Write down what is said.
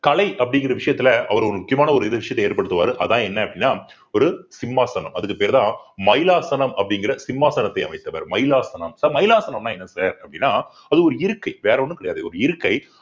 கலை அப்படிங்கிற விஷயத்துல அவர் ஒரு முக்கியமான ஒரு இது விஷயத்த ஏற்படுத்துவாரு அதான் என்ன அப்படின்னா ஒரு சிம்மாசனம் அதுக்கு பேருதான் மைலாசனம் அப்படிங்கிற சிம்மாசனத்தை அமைத்தவர் மைலாசனம் sir மைலாசனம்ன்னா என்ன sir அப்படின்னா அது ஒரு இருக்கை வேற ஒண்ணும் கிடையாது ஒரு இருக்கை